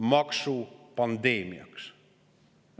–, maksupandeemiaks.